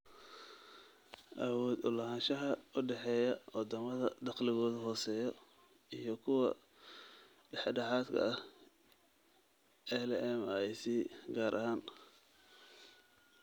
Awood u lahaanshaha u dhexeeya wadamada dakhligoodu hooseeyo iyo kuwa dhexdhexaadka ah (LMIC) gaar ahaan.